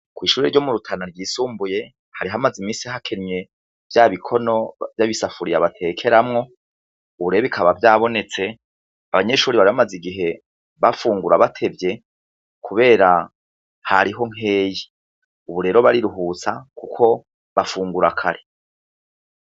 Ku ishure ryo mu Rutana ryisumbuye hari hamaze iminsi hakenye vya bikono vya bisafuriya batekeramwo, ubu rero bikaba vyabonetse , abanyeshure bari bamaze igihe bafungura batevye kubera hariho nkeyi Ubu rero bariruhutsa kuko bafungura kare.